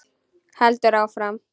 Heldur áfram: